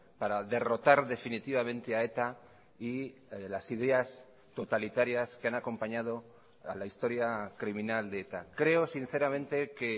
para derrotar definitivamente a eta y las ideas totalitarias que han acompañado a la historia criminal de eta creo sinceramente que